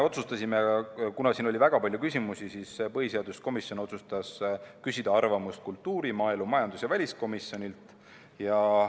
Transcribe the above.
Kuna oli väga palju küsimusi, siis põhiseaduskomisjon otsustas küsida arvamust kultuuri-, maaelu-, majandus- ja väliskomisjonilt.